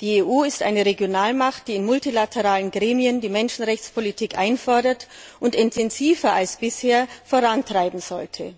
Die EU ist eine Regionalmacht, die in multilateralen Gremien die Menschenrechtspolitik einfordert und intensiver als bisher vorantreiben sollte.